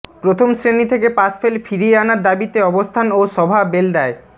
প্রথম শ্রেণী থেকে পাশফেল ফিরিয়ে আনার দাবিতে অবস্থান ও সভা বেলদায়